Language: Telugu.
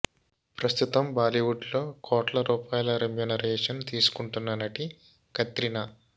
ప్రస్తుతం బాలీవుడ్ లో కోట్ల రూపాయల రెమ్యునరేషన్ తీసుకుంటున్న నటి కత్రినా